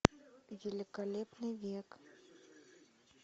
великолепный век